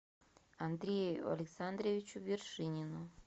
андрею александровичу вершинину